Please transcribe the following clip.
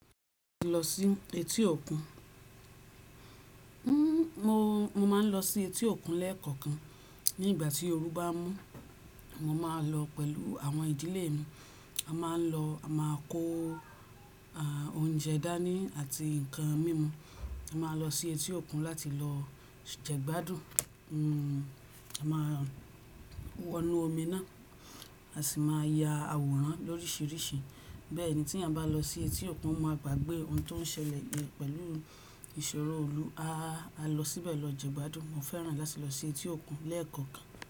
Mo lọ sí etí òkun. Mo, mo máa ń lọ sí etí òkun lẹ́ẹ̀kọ̀kan. Ní ìgbà tí oru bá mú, mo máa lọ pẹ̀lú àwọn ìdílé mi. A máa ń lọ, a máa kó òúnjẹ dání àti ǹkan mímu. A máa lọ sí etí òkun láti lọ jẹ̀gbádùn. A máa wọnú omi náà, a sì máa ya àwòrán lóríṣìíríṣìí. Bẹ́ẹ̀ ni tí eniyan bá lọ sí etí òkun, o máa gbàgbé ohun tó ń ṣẹlẹ̀ pẹ̀lú ìṣòro iilù. A lọ síbẹ̀ lọ jẹ̀gbádùn. Mo fẹ́ràn láti lọ sí etí òkun lẹ́ẹ̀kọ̀kan.